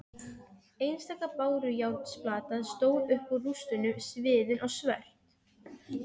Einstaka bárujárnsplata stóð upp úr rústunum sviðin og svört.